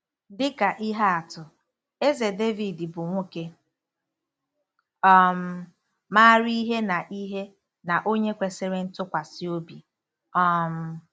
Dị ka ihe atụ, Eze Devid bụ nwoke um maara ihe na ihe na onye kwesịrị ntụkwasị obi. um